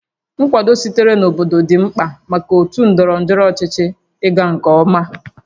Nkwado sitere na obodo dị mkpa maka otu ndọrọ ndọrọ ọchịchị ịga nke ọma